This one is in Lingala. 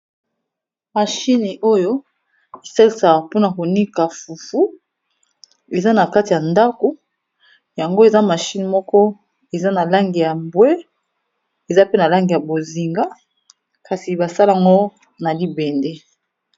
Machine iyo esalisaka PONA ko Nika fufu kadi basali Yangon n'a libende